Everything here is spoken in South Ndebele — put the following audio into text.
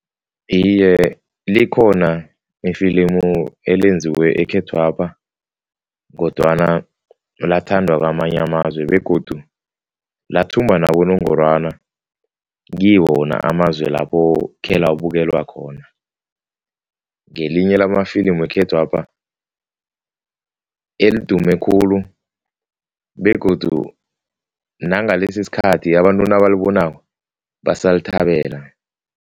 Iye, likhona ifilimu elenziwe ekhethwapha kodwana lathandwa kwamanye amazwe begodu lathumba nabonongorwana kiwo wona amazwe lapho khelabukelwa khona. Ngelinye lamafilimu wekhethwapha elidume khulu begodu nangalesi isikhathi abantu nabalibonako, basalithabela.